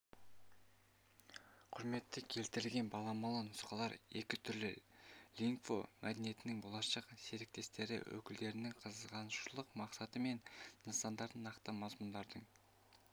құрметпен келтірілген баламалы нұсқалар екі түрлі лингво мәдениеттің болашақ серіктестері-өкілдерінің қызығушылық мақсаты мен нысандарын нақты мазмұндаудың